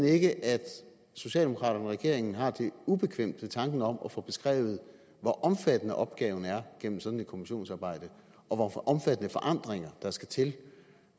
ikke at socialdemokraterne og regeringen har det ubekvemt ved tanken om at få beskrevet hvor omfattende opgaven er gennem sådan et kommissionsarbejde og hvor omfattende forandringer der skal til